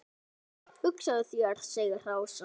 Hugsaðu þér segir Ása.